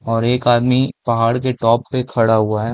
और एक आदमी पहाड़ के टॉप पे खड़ा हुआ हैं ।